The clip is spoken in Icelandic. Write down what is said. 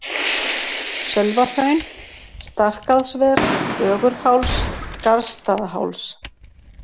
Sölvahraun, Starkaðsver, Ögurháls, Garðsstaðaháls